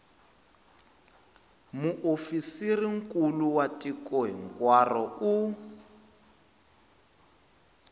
muofisirinkulu wa tiko hinkwaro u